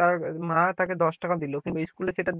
তার মা তাকে দশ টাকা দিল কিন্তু স্কুলে সেটা